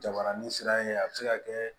Jabaranin sira in a bɛ se ka kɛ